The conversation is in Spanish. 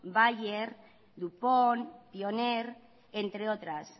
bayer dupont pioneer entre otras